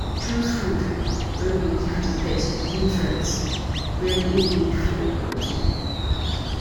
Choose food wey go give di pet di nutrients wey im need for body